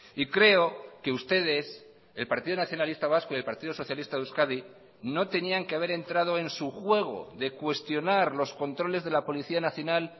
y creo que ustedes el partido nacionalista vasco y el partido socialista de euskadi no tenían que haber entrado en su juego de cuestionar los controles de la policía nacional